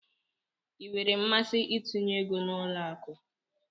Ịnwere mmasị itinye égo n'ụlọ akụ?